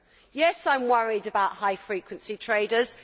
Yes, I am worried about high frequency traders.